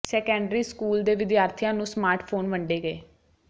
secondary school ਦੇ ਵਿਦਿਆਰਥੀਆਂ ਨੂੰ ਸਮਾਰਟ ਫ਼ੋਨ ਵੰਡੇ ਗਏ